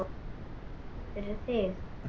Ég meina, fyrir þig.